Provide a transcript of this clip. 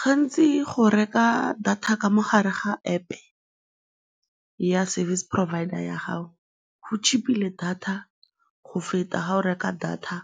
Gantsi go reka data ka mo gare ga App ya service provider ya gago go cheap-ile thata go feta fa o reka data